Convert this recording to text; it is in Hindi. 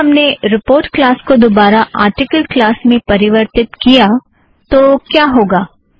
अगर हमने रिपोर्ट क्लास को दोबारा आरटिकल क्लास में परिवर्थित किया तो क्या होगा